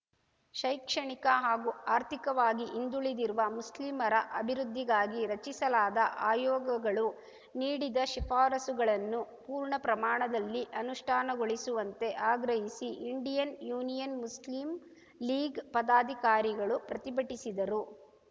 ಶೈಕ್ಷಣಿಕ ಹಾಗೂ ಆರ್ಥಿಕವಾಗಿ ಹಿಂದುಳಿದಿರುವ ಮುಸ್ಲಿಮರ ಅಭಿವೃದ್ಧಿಗಾಗಿ ರಚಿಸಲಾದ ಆಯೋಗಗಳು ನೀಡಿದ ಶಿಫಾರಸುಗಳನ್ನು ಪೂರ್ಣ ಪ್ರಮಾಣದಲ್ಲಿ ಅನುಷ್ಠಾನಗೊಳಿಸುವಂತೆ ಆಗ್ರಹಿಸಿ ಇಂಡಿಯನ್‌ ಯೂನಿಯನ್‌ ಮುಸ್ಲಿಂ ಲೀಗ್‌ ಪದಾಧಿಕಾರಿಗಳು ಪ್ರತಿಭಟಿಸಿದರು